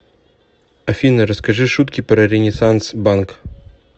афина расскажи шутки про ренессанс банк